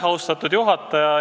Austatud juhataja!